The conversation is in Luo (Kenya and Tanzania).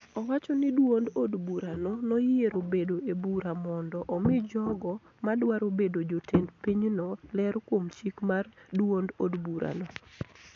Owacho ni duond od burano noyiero bedo e bura mondo omi jogo ma dwaro bedo jotend pinyno ler kuom chik mar duond od burano